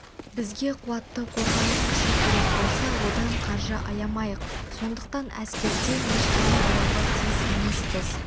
бізге қуатты қорғаныс күші керек болса одан қаржы аямайық сондықтан әскерден ештеңе аяуға тиіс емеспіз қазір